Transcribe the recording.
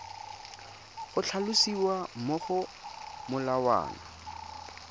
go tlhalosiwa mo go molawana